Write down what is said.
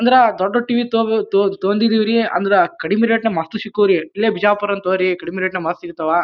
ಅಂದ್ರ ದೊಡ್ಡ ಟಿವಿ ತೊಹೊಬೋ ತಕೊಂಡಿದೀವ್ರಿ ಅಂದ್ರ ಕಡಿಮಿ ರೇಟ್ ನ್ಯಾಗ್ ಮಸ್ತ್ ಶಿಕ್ಕೋ ರೀ. ಇಲ್ಲೇ ಬಿಜಾಪುರ್ನ ತಗೋಳ್ರಿ. ಕಡ್ಮಿ ರೇಟ್ ನ್ಯಾಗ್ ಭಾಳ್ ಸಿಗ್ತಾವ.